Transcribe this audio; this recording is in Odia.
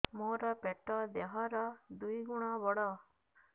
ମୋର ପେଟ ଦେହ ର ଦୁଇ ଗୁଣ ବଡ